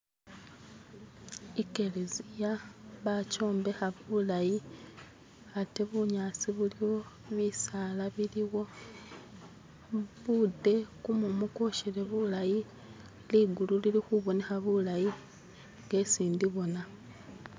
Ikheleziya bajombekha bulayi aate bunyasi buliwo bisaala biliwo bude kumumu kwoshele bulayi ligulu lili khubonekha bulayi nga hesi ndibona